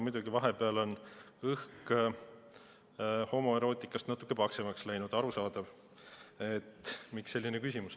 Muidugi, vahepeal on õhk homoerootikast natuke paksemaks läinud, nii et arusaadav, miks selline küsimus.